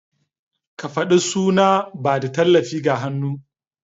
Kafadu suna ba da tallafi ga hannu.